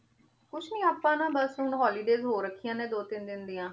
ਬਾਸ ਹੁਣ holidays ਹੋ ਰਾਖਿਯਾਂ ਨੇ ਬਾਸ ਦੋ ਤਿਨ ਦਿਨ ਡਿਯਨ